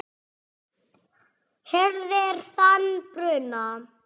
hirðir þann bruna